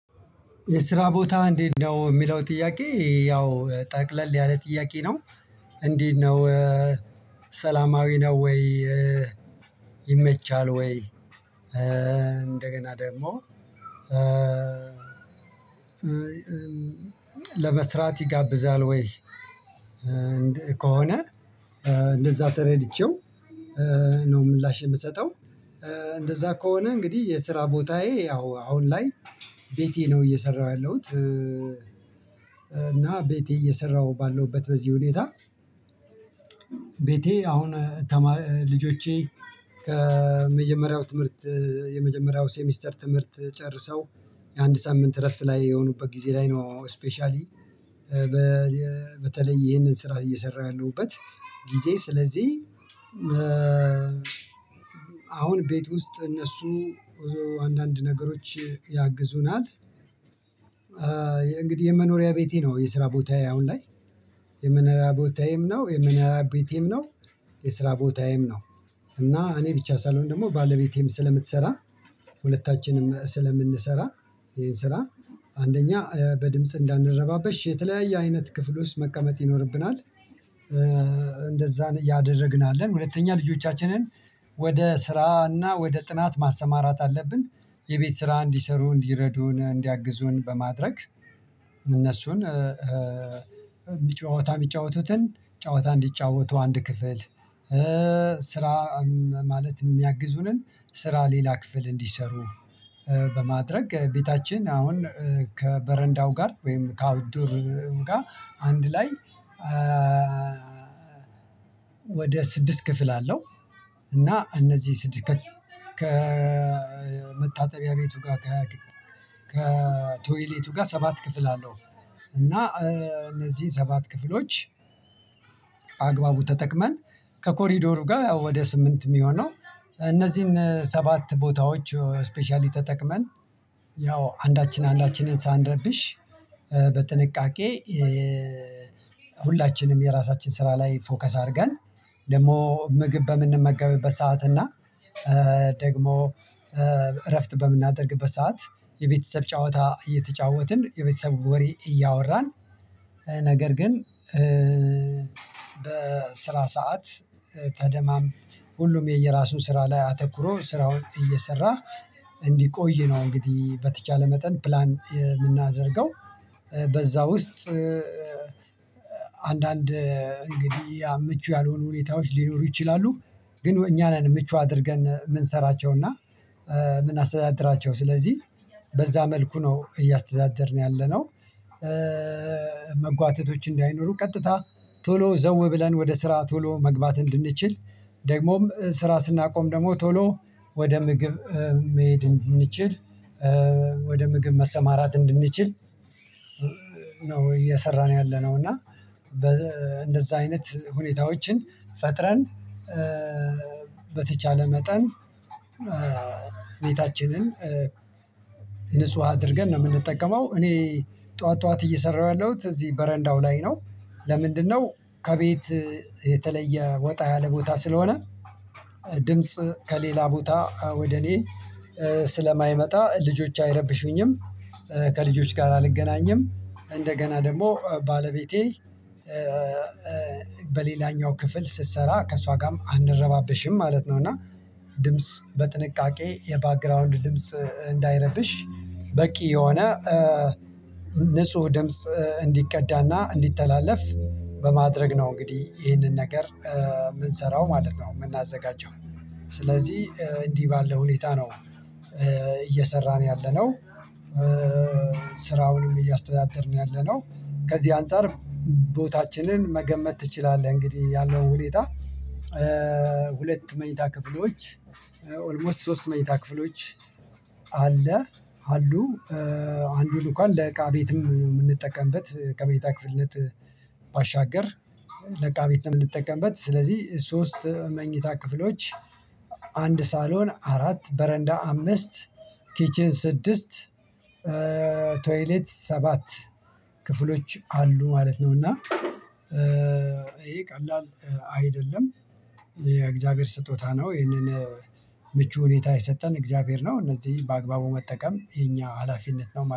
የስራ ቦታህ እንዴት ነው የሚለው ጥያቄ ያው ጠቅለል ያለ ጥያቄ ነው። እንዴት ነው? ሰላማዊ ነው ወይ? ይመቻል ወይ? እንደገና ደግሞ ለመስራት ይጋብዛል ወይ? ከሆነ እንደዛ ተረድቼው ነው። ምላሽ የምሰጠው እንደዛ ከሆነ እንግዲህ የስራ ቦታዬ ያው አሁን ላይ ቤቴ ነው እየሰራሁ ያለሁት። እና ቤቴ እየሰራሁ ባለሁበት በዚህ ሁኔታ። ቤቴ አሁን ልጆቼ ከመጀመሪያው ትምህርት የመጀመሪያው ሴሚስተር ትምህርት ጨርሰው የአንድ ሳምንት እረፍት ላይ የሆኑበት ጊዜ ላይ ነው። ስፔሻሊ በተለይ ይሄንን ስራ እየሰራው ያለውበት ጊዜ ስለዚህ አሁን ቤት ውስጥ እነሱ አንዳንድ ነገሮች ያግዙናል። እንግዲህ የመኖሪያ ቤቴ ነው የስራ ቦታዬ አሁን ላይ የመኖሪያ ቦታዬም ነው የመኖሪያ ቤቴም ነው የስራ ቦታዬም ነው። እና እኔ ብቻ ሳልሆን ደግሞ ባለቤቴም ስለምትሰራ ሁለታችንም ስለምንሰራ ይሄን ስራ አንደኛ በድምጽ እንዳንረባበሽ የተለያየ አይነት ክፍል ውስጥ መቀመጥ ይኖርብናል። እንደዛ ያደረግን ሁለተኛ ልጆቻችንን ወደ ስራና ወደ ጥናት ማሰማራት አለብን። የቤት ስራ እንዲሰሩ እንዲረዱ እንዲያግዙን በማድረግ እነሱን ጨዋታ የሚጫወቱትን ጨዋታ እንዲጫወቱ አንድ ክፍል ስራ ማለት የሚያግዙንን ስራ ሌላ ክፍል እንዲሰሩ በማድረግ ቤታችን አሁን ከበረንዳው ጋር ወይም ከአውድሩ ጋር አንድ ላይ ወደ ስድስት ክፍል አለው። እና እነዚህ ስድስት ከመታጠቢያ ቤቱ ጋር ከቶይሌቱ ጋር ሰባት ክፍል አለው። እና እነዚህን ሰባት ክፍሎች በአግባቡ ተጠቅመን ከኮሪደሩ ጋር ወደ ስምንት የሚሆነው እነዚህን ሰባት ቦታዎች ስፔሻሊ ተጠቅመን ያው አንዳችን አንዳችንን ሳንረብሽ በጥንቃቄ ሁላችንም የራሳችን ስራ ላይ ፎከስ አድርገን። ደግሞ ምግብ በምንመገብበት ሰዓት እና ደግሞ እረፍት በምናደርግበት ሰዓት የቤተሰብ ጨዋታ እየተጫወትን የቤተሰቡ ወሬ እያወራን ነገር ግን በስራ ሰዓት ተደማምጠን ሁሉም የየራሱን ስራ ላይ አተኩሮ ስራውን እየሰራ እንዲቆይ ነው። እንግዲህ በተቻለ መጠን ፕላን የምናደርገው በዛ ውስጥ አንዳንድ እንግዲህ ምቹ ያልሆኑ ሁኔታዎች ሊኖሩ ይችላሉ። ግን እኛ ነን ምቹ አድርገን የምንሰራቸውና የምናስተዳድራቸው ስለዚህ በዛ መልኩ ነው እያስተዳደርን ያለነው። መጓተቶች እንዳይኖሩ ቀጥታ ቶሎ ዘው ብለን ወደ ስራ ቶሎ መግባት እንድንችል ደግሞም ስራ ስናቆም ደግሞ ቶሎ ወደ ምግብ መሄድ እንድንችል። ወደ ምግብ መሰማራት እንድንችል ነው እየሰራን ያለነው እና እንደዛ አይነት ሁኔታዎችን ፈጥረን በተቻለ መጠን ቤታችንን ንጹህ አድርገን ነው የምንጠቀመው። እኔ ጠዋት ጠዋት እየሰራሁ ያለሁት እዚህ በረንዳው ላይ ነው። ለምንድነው? ከቤት የተለየ ወጣ ያለ ቦታ ስለሆነ ድምጽ ከሌላ ቦታ ወደ እኔ ስለማይመጣ ልጆች አይረብሹኝም። ከልጆች ጋር አልገናኝም እንደገና ደግሞ ባለቤቴ በሌላኛው ክፍል ስትሰራ ከእሷ ጋርም አንረባብሽም ማለት ነው። እና ድምጽ በጥንቃቄ የባክግራውንድ ድምጽ እንዳይረብሽ በቂ የሆነ ደምጽ እንዲቀዳና እንዲተላለፍ በማድረግ ነው እንግዲህ ይሄንን ነገር የምንሰራው ማለት ነው። የምናዘጋጀው ስለዚህ እንዲህ ባለው ሁኔታ ነው እየሰራን ያለነው። ስራውንም እያስተዳደርን ያለነው ከዚህ አንፃር ቦታችንን መገመት ትችላለህ። እንግዲህ ያለው ሁኔታ። ሁለት መኝታ ክፍሎች ኦልሞስት ሶስት መኝታ ክፍሎች አለ አሉ አንዱን እንኳን ለቃ ቤትም የምንጠቀምበት ከመኝታ ክፍልነት ባሻገር ለቃ ቤት ነው የምንጠቀምበት ስለዚህ ሶስት መኝታ ክፍሎች አንድ ሳሎን አራት በረንዳ አምስት ኪችን ስድስት ቶይሌት ሰባት ክፍሎች አሉ ማለት ነው። እና ይሄ ቀላል አይደለም የእግዚአብሔር ስጦታ ነው። ይሄንን ምቹ ሁኔታ የሰጠን እግዚአብሔር ነው። እነዚህ በአግባቡ መጠቀም የኛ ሀላፊነት ነው።